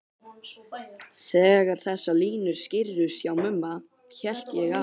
Þegar þessar línur skýrðust hjá Mumma hélt ég að